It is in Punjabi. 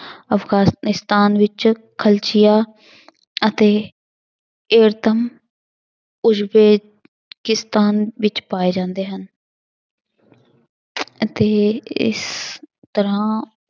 ਅਫ਼ਗਾਨਿਸਤਾਨ ਵਿੱਚ ਖਲਚੀਆ ਅਤੇ ਵਿੱਚ ਪਾਏ ਜਾਂਦੇ ਹਨ ਅਤੇ ਇਸ ਤਰ੍ਹਾਂ